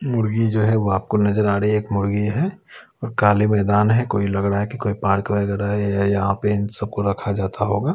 मुर्गी जो है वह आपको नजर आ रही है एक मुर्गी है और काले मैदान है कोई लग रहा है कि कोई पार्क वगैरह है यहां पे इन सबको रखा जाता होगा।